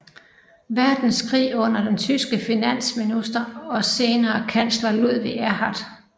Verdenskrig under den tyske finansminister og senere kansler Ludwig Erhard